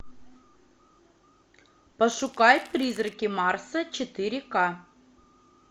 пошукай призраки марса четыре ка